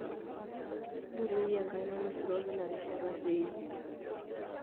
ntorrioi enkaina nisuroki ina rishata pee iimpim